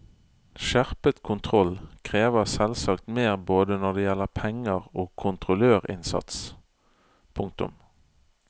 Skjerpet kontroll krever selvsagt mer både når det gjelder penger og kontrollørinnsats. punktum